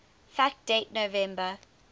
fact date november